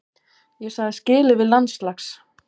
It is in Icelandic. Ég sagði skilið við landslags